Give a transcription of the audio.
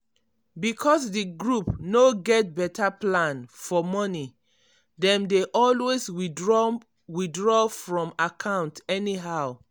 because di group no get better plan for money dem dey always withdraw withdraw from account anyhow.